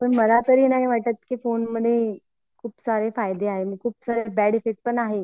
पण मला नाही वाटत कि फोनमध्ये खूप सारे फायदे आहे पण बॅड इफेक्ट पण आहे